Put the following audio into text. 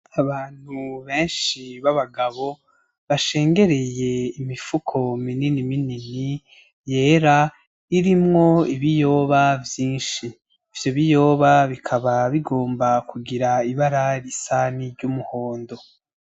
Abantu benshi b'abagabo bashengereye imifuko minini minini yera irimwo ibiyoba vyinshi, ivyo biyoba bikaba bigomba kugira ibara risa niry'umuhondo.